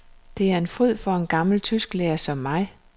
Det er en fryd for en gammel tysklærer som mig.